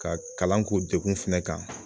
Ka kalan k'u degun fɛnɛ kan.